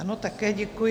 Ano, také děkuji.